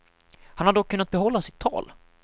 Han har dock kunnat behålla sitt tal.